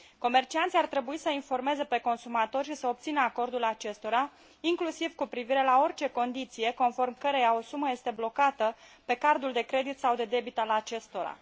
Comercianții ar trebui să i informeze pe consumatori și să obțină acordul acestora, inclusiv cu privire la orice condiție conform căreia o sumă este blocată pe card ul de credit sau de debit al acestora.